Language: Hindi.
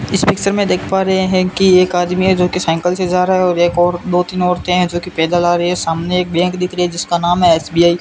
इस पिक्चर में देख पा रहे हैं कि एक आदमी है जोकि साइकिल से जा रहा है एक और दो तीन औरतें हैं जोकि पैदल आ रही है सामने एक बैंक दिख रहा है जिसका नाम एस_बी_आई --